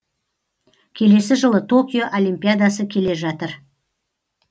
келесі жылы токио олимпиадасы келе жатыр